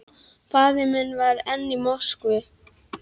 Faðir minn var enn í Moskvu.